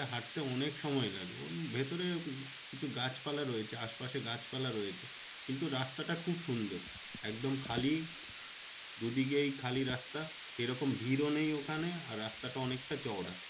হাঁটতে অনেক সময় লাগবে। ভেতরে কিছু গাছ পালা রয়েছে কিন্তু রাস্তাটা খুব সুন্দর একদম খালি দুদিকেই খালি রাস্তা সেরকম ভিড়ও নেই ওখানে আর রাস্তাটা অনেকটা চওড়া।